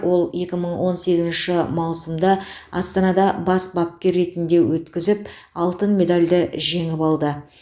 ол екі мың он сегізінші маусымда астанада бас бапкер ретінде өткізіп алтын медальды жеңіп алды